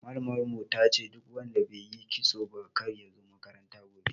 Malamar mu tace duk wanda baiyi kitso ba kar yazo makaranta gobe